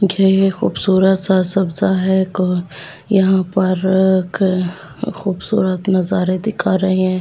खूबसूरत सा है कोई यहां पर खूबसूरत नजारे दिखा रहे हैं।